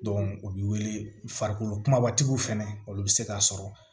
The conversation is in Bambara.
u bɛ wele farikolo kumabatigiw fɛnɛ olu bɛ se k'a sɔrɔ